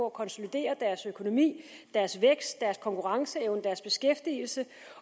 at konsolidere deres økonomi deres vækst deres konkurrenceevne og deres beskæftigelse